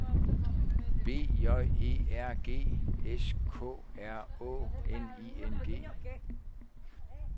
B J E R G S K R Å N I N G